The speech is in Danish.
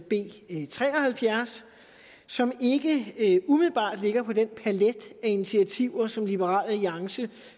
b tre og halvfjerds som ikke umiddelbart ligger på den palet af initiativer som liberal alliance